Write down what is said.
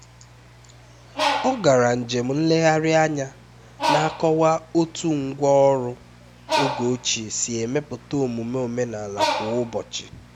ọ gara njem nlegharị anya na-akọwa otú ngwá ọrụ oge ochie si emepụta omume omenala kwa ụbọchị